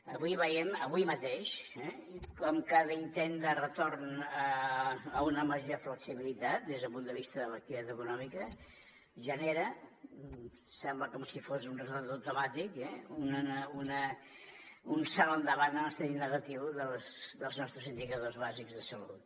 avui veiem avui mateix com cada intent de retorn a una major flexibilitat des del punt de vista de l’activitat econòmica genera sembla com si fos un ressort automàtic un salt endavant en el sentit negatiu dels nostres indicadors bàsics de salut